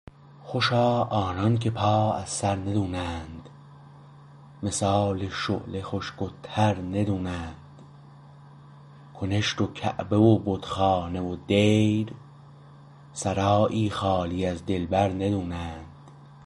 خوشا آنانکه پا از سر ندونند مثال شعله خشک و تر ندونند کنشت و کعبه و بت خانه و دیر سرایی خالی از دلبر ندونند